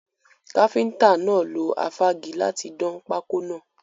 Káfíntà náà lo afági láti dán pákọ́ náà.